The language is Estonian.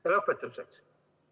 Ja lõpetuseks.